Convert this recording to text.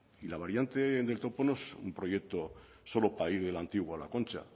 y la variante del topo no es un proyecto solo para ir del antiguo a la concha